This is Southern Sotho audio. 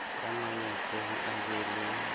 ya mametseng a be le